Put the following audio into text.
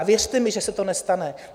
A věřte mi, že se to nestane.